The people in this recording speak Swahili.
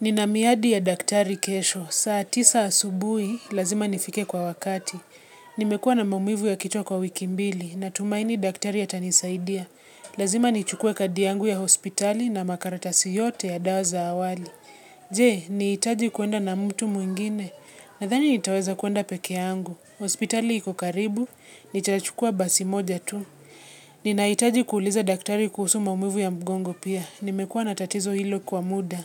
Nina miadi ya daktari kesho, saa tisa asubui, lazima nifike kwa wakati. Nimekua na maumivu ya kichwa kwa wiki mbili, natumaini daktari atanisaidia. Lazima nichukue kadi yangu ya hospitali na makaratasi yote ya dawa za awali. Je, nihitaji kuenda na mtu muingine, nadhani nitaweza kuenda pekeangu. Hospitali iko karibu, nitachukua basi moja tu. Ninahitaji kuuliza daktari kuhusu maumivu ya mgongo pia, nimekua na tatizo hilo kwa muda.